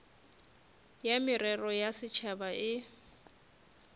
ya merero ya setšhaba e